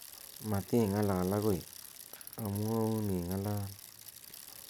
mating'alal agoi amuoun ing'alal